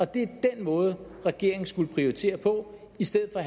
det er den måde regeringen skulle prioritere på i stedet for